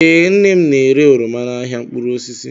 Ee, nnem n'ere oroma n'ahịa mkpụrụ osisi